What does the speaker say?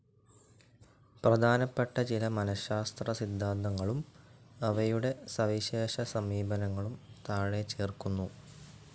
പ്രധാനപ്പെട്ട ചില മനഃശാസ്ത്ര സിദ്ധാന്തങ്ങളും അവയുടെ സവിശേഷ സമീപനങ്ങളും താഴെ ചേർക്കുന്നു.